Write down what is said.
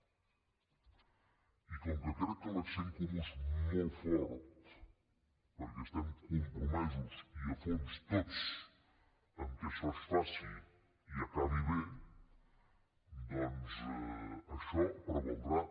i com que crec que l’accent comú és molt fort perquè estem compromesos i a fons tots perquè això es faci i acabi bé doncs això prevaldrà